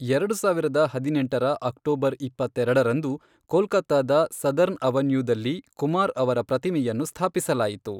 ಎರಡು ಸಾವಿರದ ಹದಿನೆಂಟರ ಅಕ್ಟೋಬರ್ ಇಪ್ಪತ್ತೆರಡರಂದು, ಕೋಲ್ಕತ್ತಾದ ಸದರ್ನ್ ಅವೆನ್ಯೂದಲ್ಲಿ ಕುಮಾರ್ ಅವರ ಪ್ರತಿಮೆಯನ್ನು ಸ್ಥಾಪಿಸಲಾಯಿತು.